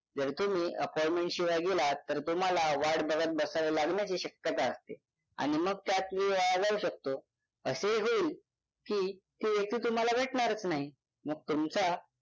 जर तुम्ही appointment शिवाय गेलात तर तुम्हाला वाट बघत बसावे लागण्याची शक्यता असते आणि मग त्यात वेळ वाया जाऊ शकतो असे ही होईल की ती व्यक्ती तुम्हाला भेटणारच नाही मग तुमचा